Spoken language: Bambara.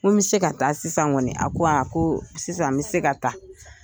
Ko n mi se ka taa sisan kɔni a ko, ko sisan n mi se ka taa.